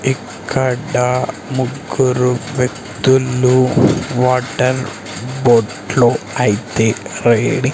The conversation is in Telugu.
ఇక్కడ ముగ్గురు వ్యక్తులు వాటర్ బోట్లో అయితే రైడింగ్ .